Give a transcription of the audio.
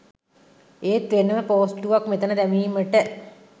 ඒත් වෙනම පෝස්ටුවක් මෙතන දැමීමට